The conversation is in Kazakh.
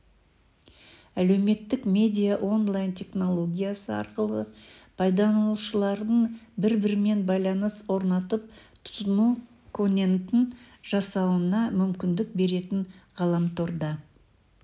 әлеуметтік медиа онлайн-технология арқылы пайдаланушылардың бір-бірімен байланыс орнатып тұтыну конентін жасауына мүмкіндік беретін ғаламторда